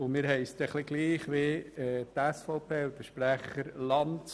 Uns geht es ein bisschen ähnlich wie der SVP und ihrem Sprecher Lanz: